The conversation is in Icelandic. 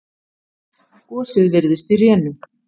Gosið virðist í rénum.